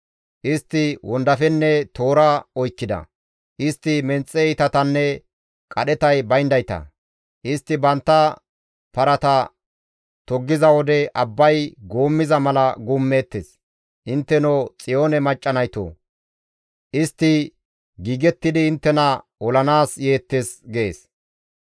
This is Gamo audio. Istti wondafenne toora oykkida. Istti menxe iitatanne qadhetay bayndayta; istti bantta parata toggiza wode abbay guummiza mala guummeettes. Intteno Xiyoone macca naytoo! Istti giigettidi inttena olanaas yeettes» gees.